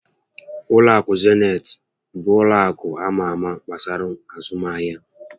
Ụlọ akụ Zenit bụ ụlọ akụ ama ámá gbasara azụmahịa